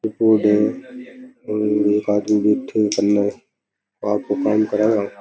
ये बोर्ड है एक आदमी बैठे है कन आपको काम करा व।